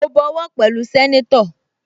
Mo bọwọ́ pẹ̀lú sẹ́nétọ̀